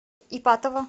ипатово